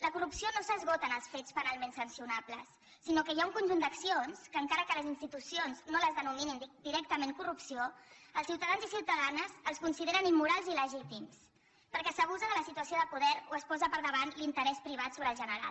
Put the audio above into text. la corrupció no s’esgota en els fets penalment sancionables sinó que hi ha un conjunt d’accions que encara que les institu cions no les denominin directament corrupció els ciutadans i ciutadanes els consideren immorals i il·legítims perquè s’abusa de la situació de poder o es posa per davant l’interès privat sobre el general